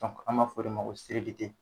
An ma fɔ o de ma ko